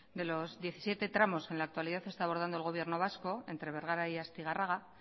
de los diecisiete tramos en la actualidad está abordando el gobierno vasco entre bergara y astigarraga